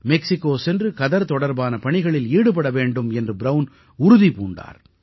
Mexico சென்று கதர் தொடர்பான பணிகளில் ஈடுபட வேண்டும் என்று ப்ரவுன் உறுதி பூண்டார்